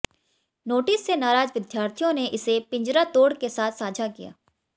notice से नाराज विद्यार्थियों ने इसे पिंजरा तोड़ के साथ साझा किया